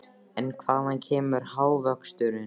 En hvaðan kemur hagvöxturinn?